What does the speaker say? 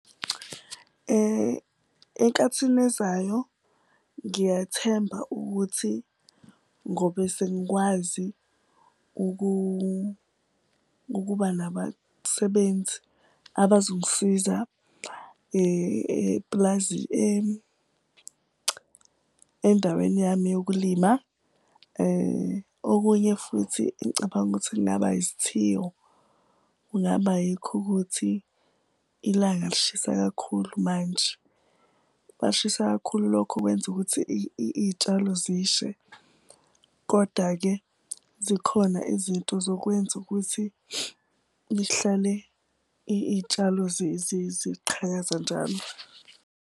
Enkathini ezayo ngiyathemba ukuthi ngobe sengikwazi ukuba nabasebenzi abazongisiza endaweni yami yokulima. Okunye futhi engicabanga ukuthi kungaba isithiyo kungaba yikho ukuthi ilanga lishisa kakhulu manje. Uma lishisa kakhulu, lokho kwenza ukuthi iy'tshalo zishe koda-ke zikhona izinto zokwenza ukuthi lihlale iy'tshalo ziqhakaza njalo.